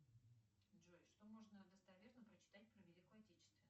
джой что можно достоверно прочитать про великую отечественную